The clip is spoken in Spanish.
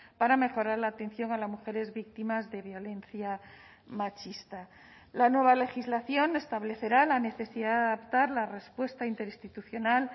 para mejorar la atención a las mujeres víctimas de violencia machista la nueva legislación establecerá la necesidad de adaptar la respuesta interinstitucional